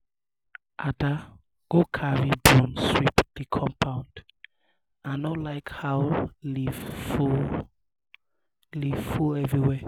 ada um go carry broom sweep the um compound i no like how leaf full um leaf full um everywhere